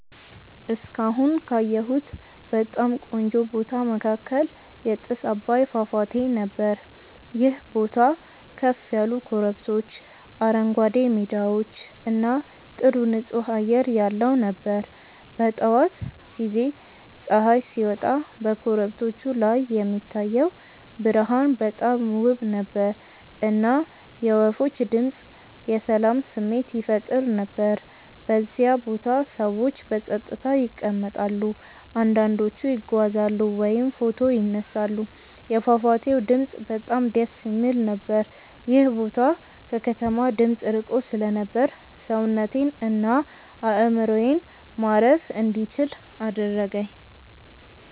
እስካሁን ካየሁት በጣም ቆንጆ ቦታ መካከል የጥስ አባይ ፏፏቴ ነበር። ይህ ቦታ ከፍ ያሉ ኮረብቶች፣ አረንጓዴ ሜዳዎች እና ጥሩ ንፁህ አየር ያለው ነበር። በጠዋት ጊዜ ፀሐይ ሲወጣ በኮረብቶቹ ላይ የሚታየው ብርሃን በጣም ውብ ነበር፣ እና የወፎች ድምፅ የሰላም ስሜት ይፈጥር ነበር። በዚያ ቦታ ሰዎች በጸጥታ ይቀመጣሉ፣ አንዳንዶቹ ይጓዛሉ ወይም ፎቶ ይነሳሉ። የፏፏቴው ድምፅ በጣም ደስ የሚል ነበር። ይህ ቦታ ከከተማ ድምፅ ርቆ ስለነበር ሰውነቴን እና አእምሮዬን ማረፍ እንዲችል አደረገኝ።